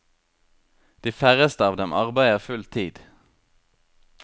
De færreste av dem arbeider full tid.